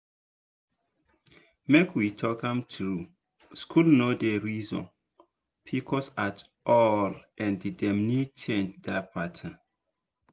make we talk am true school no dey reason pcos at all and dem need change that pattern.